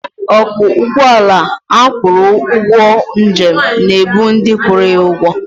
Ọkwọ ụgbọala agwụrụ ụgwọ njem na-ebu ndị kwụrụ ya ụgwọ.